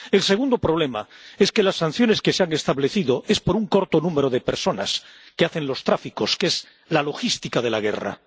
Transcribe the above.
El segundo problema es que las sanciones que se han establecido son para un corto número de personas que se dedican al tráfico, que es la logística de la guerra.